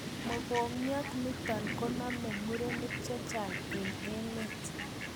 Mokongiat nitok koname murenik chechang eng emet